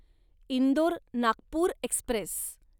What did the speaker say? Indore Nagpur Express